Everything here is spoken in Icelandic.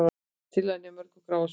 Tillagan á mjög gráu svæði